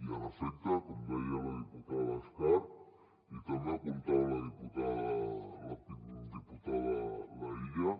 i en efecte com deia la diputada escarp i també apuntava la diputada laïlla